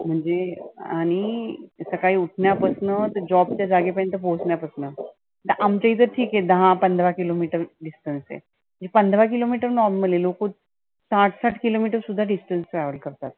म्हणजे आणि सकाळी उठण्या पसनं job च्या जागे पर्यंत पोहचण्या पसनं. आमच्या इथे ठिक आहे दहा पंधरा kilo meter distance आहे. पंधरा kilo meter normal आहे. लोक साठ साठ kilo meter सुद्धा distence travel करतात.